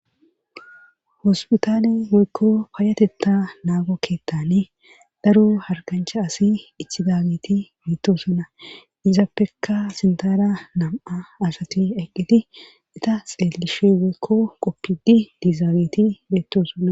Hospitaane moykko paayatetta naago keettane daro hargancha asi ithidageti beettosunna izaappekka sintara nam7a asati eqqiti ita xeelishe weekko qoppidi diizaageti beettosunna.